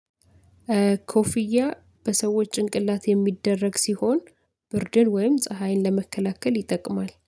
ኮፍያ በሰዎች ጭንቅላት የሚደረግ ሲሆን ብርድን ወይም ፀሀይን ለመከላከል ይጠቅማል